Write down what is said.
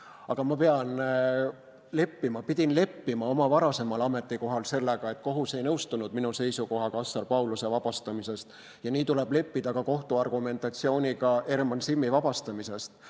Aga ma pidin leppima oma varasemal ametikohal sellega, et kohus ei nõustunud minu seisukohaga Assar Pauluse vabastamise suhtes, ja nii tuleb leppida ka kohtu argumentatsiooniga Herman Simmi vabastamise kohta.